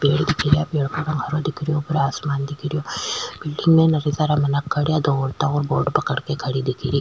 पेड़ दिखरा पेड़ को रंग हरो दिखेरो ऊपर आसमान दिखे रियो दो औरता बोर्ड पकड़ के खड़ी दिखेरी।